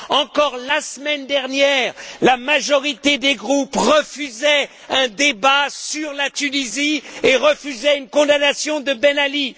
Encore la semaine dernière, la majorité des groupes refusait un débat sur la Tunisie et refusait une condamnation de Ben Ali.